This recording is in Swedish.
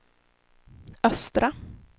östra